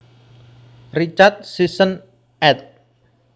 Richard Sisson ed